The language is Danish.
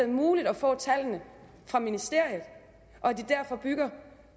muligt at få tallene fra ministeriet og at det derfor bygger